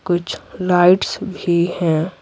कुछ लाइट्स भी हैं।